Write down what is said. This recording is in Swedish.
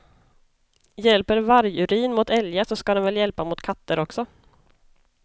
Hjälper vargurin mot älgar så ska den väl hjälpa mot katter också.